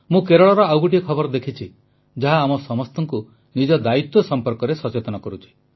ମୁଁ କେରଳର ଆଉ ଗୋଟିଏ ଖବର ଦେଖିଛି ଯାହା ଆମ ସମସ୍ତଙ୍କୁ ନିଜ ଦାୟିତ୍ୱ ସମ୍ପର୍କରେ ସଚେତନ କରୁଛି